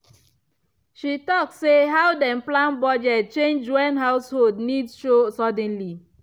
she talk say how dem plan budget change when household needs show suddenly